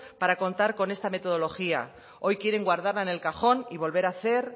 para contar con esta metodología hoy quieren guardarla en el cajón y volver a hacer